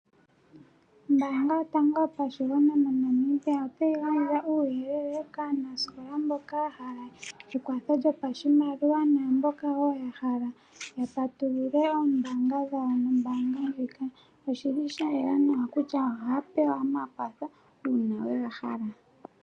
Ombaanga yotango yopashigwana moNamibia otayi gandja uuyelele kaanasikola mboka ya hala ekwatho lyopashimaliwa, naamboka wo ya hala ya patulule oombanga dhawo nombaanga ndjika. Oshi li sha yela nawa kutya ohaya pewa omakwatho uuna ye ga hala.